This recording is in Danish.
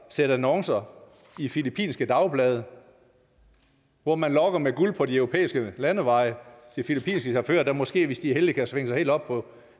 sætte annoncer i filippinske dagblade hvor man lokker med guld på de europæiske landeveje til filippinske chauffører der måske hvis de er heldige kan svinge sig helt op på